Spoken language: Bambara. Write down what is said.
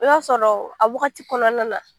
O y'a sɔrɔ ,a wagati kɔnɔna na